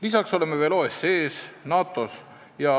Lisaks oleme veel OECD-s ja NATO-s.